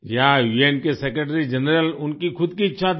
जी हाँ उन के सेक्रेटरी जनरल उनकी खुद की इच्छा थी